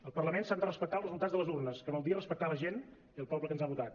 al parlament s’han de respectar els resultats de les urnes que vol dir respectar la gent i el poble que ens ha votat